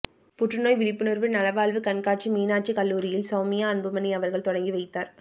புற்றுநோய் விழிப்புணர்வு நலவாழ்வுக் கண்காட்சி மீனாட்சிக் கல்லுரியில் சௌமியா அன்புமணி அவர்கள் தொடங்கிவைத்தார்